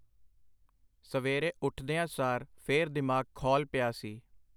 ਸਵੇਰੇ ਉਠਦਿਆਂ ਸਾਰ ਫੇਰ ਦਿਮਾਗ ਖੌਲ ਪਿਆ ਸੀ.